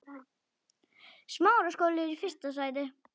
Hún fer suður.